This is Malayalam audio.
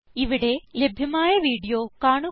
ഇവിടെ ലഭ്യമായ വീഡിയോ കാണുക